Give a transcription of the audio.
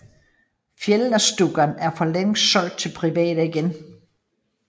Fjällstauan er for længst solgt til private igen